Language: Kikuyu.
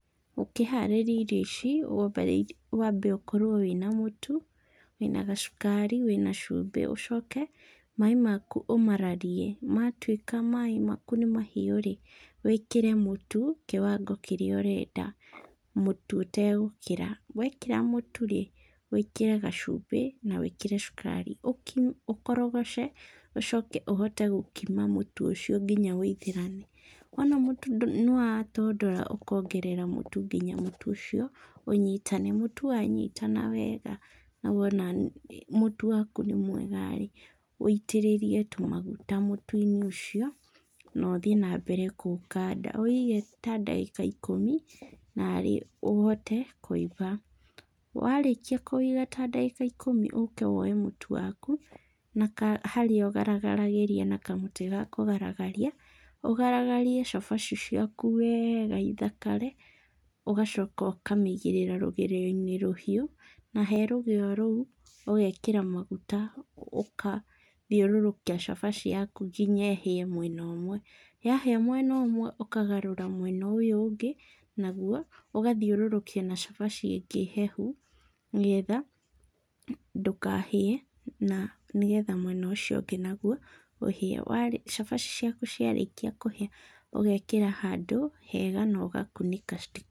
Ũkĩharĩria irio ici wambe ũkorwo wĩna mũtu, wĩna gacukari, wĩna cumbĩ. Ũcoke maĩ maku ũmararie, matuĩka maĩ maku nĩ mahiũ-rĩ, wĩkĩre mũtu kĩwango kĩrĩa ũrenda, mũtu ũtegũkĩra. Wekĩra mũtu-rĩ, wĩkĩre gacumbĩ na wĩkĩre cukari ũkime ũkorogoce, ũcoke ũhote gũkima mũtu ũcio kinya wĩithĩrane. Wona mũtu nĩwatondora ũkongerera mũtu kinya mũtu ũcio ũnyitane. Mũtu wanyitana wega na wona mũtu waku nĩ mwega-rĩ, wĩitĩrĩrie tũmaguta mũtu-inĩ ũcio na ũthiĩ na mbere kũũkanda. Ũwĩige ta ndagĩka ikũmi narĩ ũhote kũimba. Warĩkia kũwĩiga ta ndagĩka ikũmi ũke woe mũtu waku na harĩa ũgaragagĩria na kamũtĩ ga kũgaragaria, ũgaragarie cabaci ciaku weega ithakare, ũgacoka ũkamĩigĩrĩra rũgĩo-inĩ rũhiũ, na he rũgĩo rũu, ũgekĩra maguta ũkathiũrũrũkia cabaci yaku kinya ĩhĩe mwena ũmwe. Yahĩa mwena ũmwe ũkagarũra mwena ũyũ ũngĩ, naguo ũgathĩũrũrũkia na cabaci ĩngĩ hehu nĩgetha ndũkahĩe na nĩgetha mwena ũcio ũngĩ naguo ũhĩe. Cabaci ciaku ciarĩkia kũhĩa ũgekĩra handũ hega na ũgakunĩka.